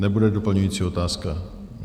Nebude doplňující otázka?